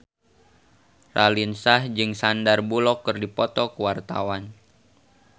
Raline Shah jeung Sandar Bullock keur dipoto ku wartawan